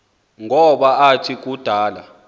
ngoba athi kudala